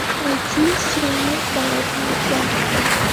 найти сериал болотная тварь